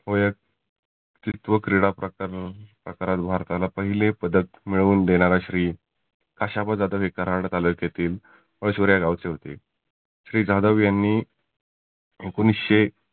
होयक तिर्थ्व क्रिडा प्रकार सातारात भारताला पहिले पदक मिळवून देणारा श्री खाशाबा जाधव हे कराड तालुक्यातील या गावचे होते. श्री जाधव यांनी एकोनीसशे